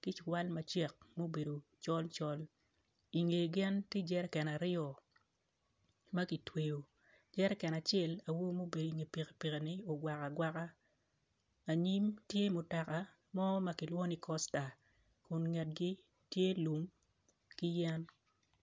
ki ciwal macek ma obedo col col inge gin tye jeriken aryo maktweyo jeriken acel awobi mubedo i nge pikipiki ni ogwako agwaka anyim tye mutoka mo makilwongo ni kosta kun ngetgi tye lum kiyen.